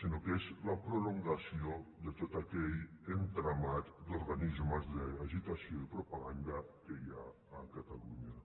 sinó que és la prolongació de tot aquell entramat d’organismes d’agitació i propaganda que hi ha a catalunya